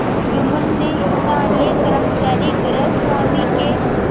जुम्मन ने स्थानीय कर्मचारीगृहस्वामीके